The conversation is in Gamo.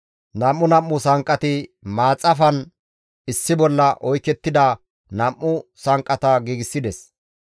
Nam7u nam7u sanqqati maaxafan issi bolla oykettida nam7u sanqqata giigsides.